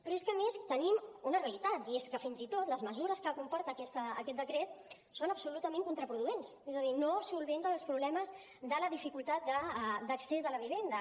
però és que a més tenim una realitat i és que fins i tot les mesures que comporta aquest decret són absolutament contraproduents és a dir no resolen els problemes de la dificultat d’accés a la vivenda